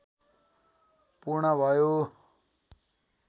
पूर्ण भयो